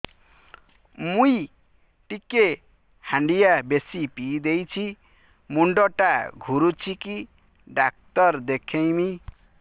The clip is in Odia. ମୁଇ ଟିକେ ହାଣ୍ଡିଆ ବେଶି ପିଇ ଦେଇଛି ମୁଣ୍ଡ ଟା ଘୁରୁଚି କି ଡାକ୍ତର ଦେଖେଇମି